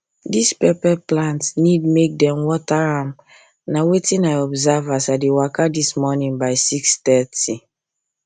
this pepper plant need make them water am na wetin i observe as i dey waka this morning by 630